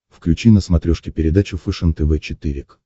включи на смотрешке передачу фэшен тв четыре к